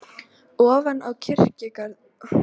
Ofan við kirkjugarðinn á Sauðafelli er hóll.